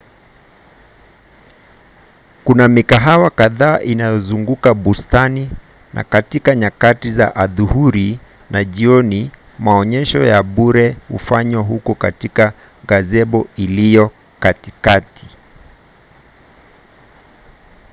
kuna mikahawa kadhaa inayozunguka bustani na katika nyakati za adhuhuri na jioni maonyesho ya bure hufanywa huko katika gazebo iliyo katikati